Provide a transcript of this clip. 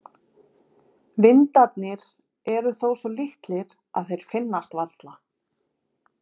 Vindarnir eru þó svo litlir að þeir finnast varla.